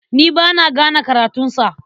Ni ba na gane karatunsa.